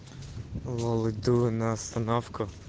лол иду на остановку